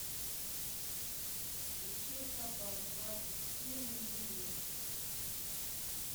ищи хабар двадцать четыре на телевизоре